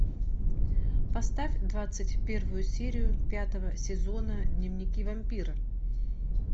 поставь двадцать первую серию пятого сезона дневники вампира